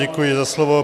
Děkuji za slovo.